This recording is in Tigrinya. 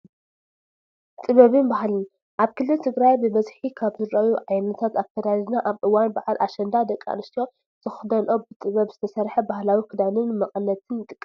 ጥበብን ባህልን፡- ኣብ ክልል ትግራይ ብበዝሒ ካብ ዝረአዩ ዓይነታት ኣከዳድና ኣብ እዋን በዓል ኣሸንዳ ደቂ ኣንስትዮ ዝኽደነኦ ብጥበብ ዝተሰርሐ ባህላዊ ክዳንን መቐነትን ይጥቀስ፡፡